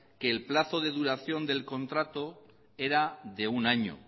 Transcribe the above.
que el plazo de duración del contrato era de un año